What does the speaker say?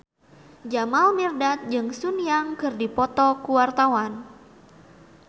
Jamal Mirdad jeung Sun Yang keur dipoto ku wartawan